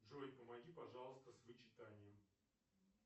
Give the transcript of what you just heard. джой помоги пожалуйста с вычитанием